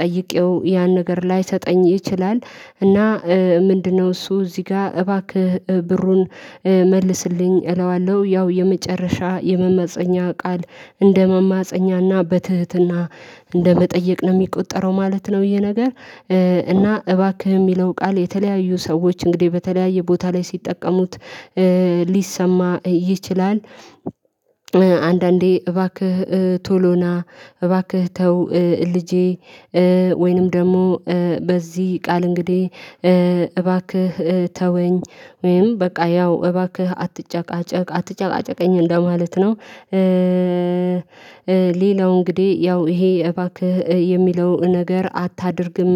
ጠይቄው ያን ነገር ላይሰጠኝ ይችላል። እና ምንድነው እሱ እዚህ ጋር እባክህ ብሩን መልስልኝ እለዋለሁ። ያው የመጨረሻ የመማፀኛ ቃል እንደመማፀኛና በትህትና እንደመጠየቅ ነው የሚቆጠረው ማለት ነው። ይሄ ነገር እና እባክህ የሚለው ቃል የተለያዩ ሰዎች እንግዲህ በተለያየ ቦታ ላይ ሲጠቀሙት ሊሰማ ይችላል። አንዳንዴ እባክህ ቶሎና እባክህ ተው ልጄ። ወይንም ደግሞ በዚህ ቃል እንግዲህ እባክህ ተወኝ ወይም በቃ ያው እባክህ አትጨቃጨቅ አትጨቃጨቀኝ እንደማለት ነው። ሌላው እንግዲህ ያው ይሄ እባክህ የሚለው ነገር አታድርግም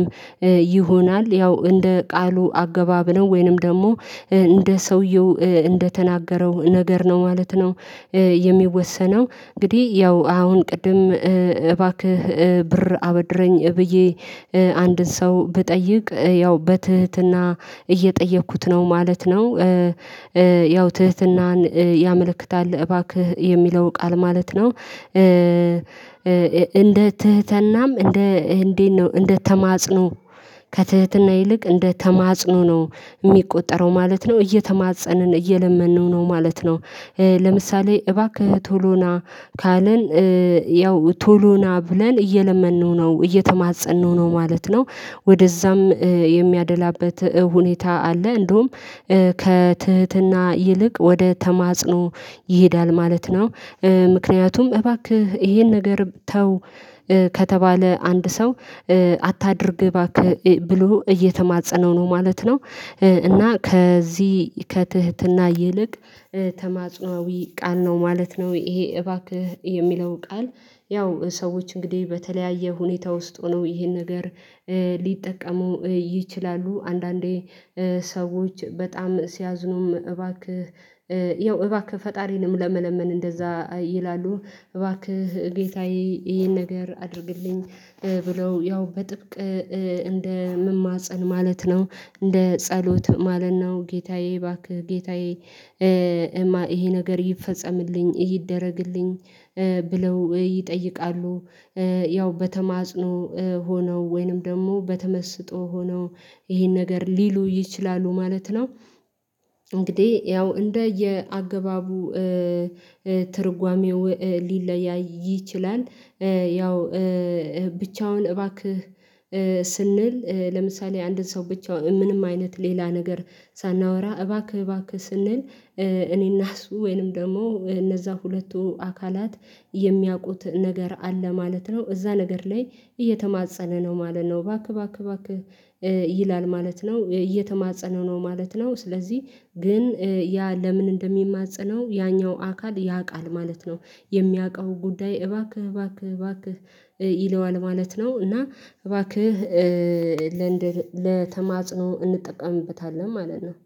ይሆናል ያው እንደ ቃሉ አገባብ ነው ወይንም ደግሞ እንደ ሰውየው እንደተናገረው ነገር ነው ማለት ነው። የሚወሰነው እንግዲህ ያው አሁን ቅድም እባክህ ብር አበድረኝ ብዬ አንድን ሰው ብጠይቅ ያው በትህትና እየጠየኩት ነው ማለት ነው። ያው ትህትናን ያመለክታል እባክህ የሚለው ቃል ማለት ነው። እንደ ትህትናም እንደ እንዴት ነው እንደ ተማጽኖ ከትህትና ይልቅ እንደ ተማጽኖ ነው የሚቆጠረው ማለት ነው እየተማጸንን እየለመንነው ነው ማለት ነው። ለምሳሌ እባክህ ቶሎና ካለን ያው ቶሎና ብለን እየለመንነው ነው እየተማፀንነው ነው ማለት ነው ወደዛም የሚያደላበት ሁኔታ አለ እንደውም ከትህትና ይልቅ ወደ ተማጽኖ ይሄዳል ማለት ነው። ምክንያቱም እባክህ ይሄን ነገር ተው ከተባለ አንድ ሰው አታድርግ እባክህ ብሎ እየተማፀነው ነው ማለት ነው። እና ከዚህ ከትህትና ይልቅ ተማጽኖአዊ ቃል ነው ማለት ነው። ይሄ እባክህ የሚለው ቃል ያው ሰዎች እንግዲህ በተለያየ ሁኔታ ውስጥ ሆነው ይሄን ነገር ሊጠቀመው ይችላሉ አንዳንዴ ሰዎች በጣም ሲያዝኑም እባክህ ያው እባክህ ፈጣሪንም ለመለመን እንደዛ ይላሉ እባክህ ጌታዬ ይሄን ነገር አድርግልኝ ብለው ያው በጥብቅ እንደ መማፀን ማለት ነው። እንደ ጸሎት ማለት ነው። ጌታዬ እባክህ ጌታዬ ይሄ ነገር ይፈጸምልኝ ይደረግልኝ ብለው ይጠይቃሉ። ያው በተማጽኖ ሆነው ወይንም ደግሞ በተመስጦ ሆነው ይሄን ነገር ሊሉ ይችላሉ ማለት ነው። እንግዲህ ያው እንደ የአገባቡ ትርጓሜው ሊለያይ ይችላል። ያው ብቻውን እባክህ ስንል ለምሳሌ አንድን ሰው ብቻ ምንም አይነት ሌላ ነገር ሳናወራ እባክህ እባክህ ስንል እኔና እሱ ወይንም ደግሞ እነዛ ሁለቱ አካላት የሚያውቁት ነገር አለ ማለት ነው። እዛ ነገር ላይ እየተማፀነ ነው ማለት ነው እባክህ እባክህ እባክህ ይላል ማለት ነው እየተማፀነው ነው ማለት ነው። ስለዚህ ግን ያ ለምን እንደሚማፀነው ያኛው አካል ያውቃል ማለት ነው። የሚያውቀው ጉዳይ እባክህ እባክህ እባክህ ይለዋል ማለት ነው። እና እባክህ ለንደን ለተማጽኖ እንጠቀምበታለን ማለት ነው።